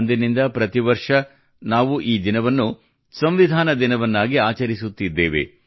ಅಂದಿನಿಂದ ಪ್ರತಿ ವರ್ಷ ನಾವು ಈ ದಿನವನ್ನು ಸಂವಿಧಾನ ದಿನವನ್ನಾಗಿ ಆಚರಿಸುತ್ತಿದ್ದೇವೆ